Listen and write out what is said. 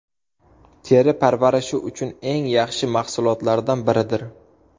Teri parvarishi uchun eng yaxshi mahsulotlardan biridir.